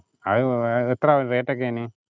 അതിനു പോകാം എത്രയാകും rate ഒക്കെ അതിനു?